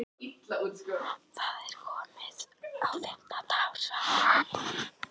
Það er komið á fimmta ár, svaraði hún.